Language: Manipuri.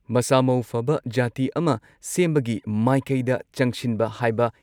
ꯃꯁꯥ ꯃꯎ ꯐꯕ ꯖꯥꯇꯤ ꯑꯃ ꯁꯦꯝꯕꯒꯤ ꯃꯥꯏꯀꯩꯗ ꯆꯪꯁꯤꯟꯕ ꯍꯥꯏꯕ